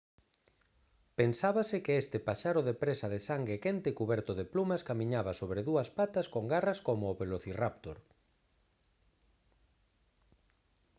pensábase que este paxaro de presa de sangue quente cuberto de plumas camiñaba sobre dúas patas con garras como o velocirráptor